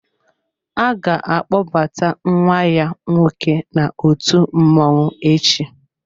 A ga-akpọbata ​​nwa ya nwoke n'òtù mmọnwụ echi.